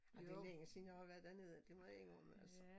Ej det længe siden jeg har været dernede det må jeg indrømme altså